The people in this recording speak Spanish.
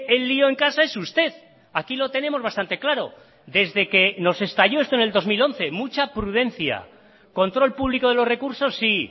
el lío en casa es usted aquí lo tenemos bastante claro desde que nos estalló esto en el dos mil once mucha prudencia control público de los recursos sí